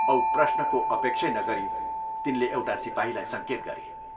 औ प्रश्नको अपेक्षै नगरी तिनले एउटा सिपाहीलाई संकेत गरे।